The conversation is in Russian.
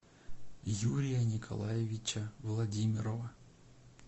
юрия николаевича владимирова